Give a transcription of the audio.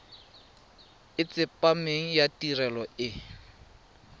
e tsepameng ya tirelo e